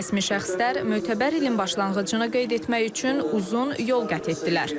Rəsmi şəxslər mötəbər ilin başlanğıcını qeyd etmək üçün uzun yol qət etdilər.